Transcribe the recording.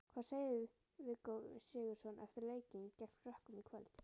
Hvað segir Viggó Sigurðsson eftir leikinn gegn Frökkum í kvöld?